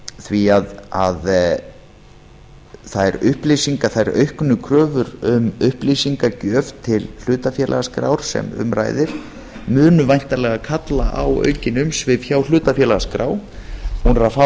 því að þær auknu kröfur um upplýsingagjöf til hlutafélagaskrár sem um ræðir munu væntanlega kalla á aukin umsvif hjá hlutafélagaskrá hún er að fá